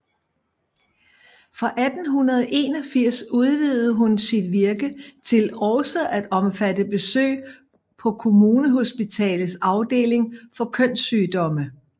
Fra 1881 udvidede hun sit virke til også at omfatte besøg på Kommunehospitalets afdeling for kønssygdomme